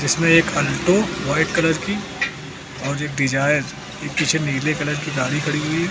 इसमें एक Alto white colour की और एक डिजाइन पीछे नीले कलर की गाड़ी खड़ी है।